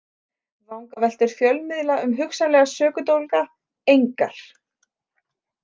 Vangaveltur fjölmiðla um hugsanlega sökudólga: engar.